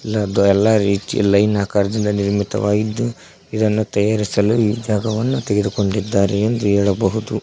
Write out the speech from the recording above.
ಎಲ್ಲ ದೋ ಎಲ್ಲಾ ರೀತಿ ಲೈನ್ ಆಕಾರದಿಂದ ನಿರ್ಮಿತವಾಗಿದ್ದು ಇದನ್ನು ತಯಾರಿಸಲು ಈ ಜಾಗವನ್ನು ತೆಗೆದುಕೊಂಡಿದ್ದಾರೆ ಎಂದು ಹೇಳಬಹುದು.